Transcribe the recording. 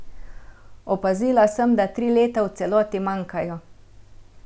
Opazila sem, da tri leta v celoti manjkajo.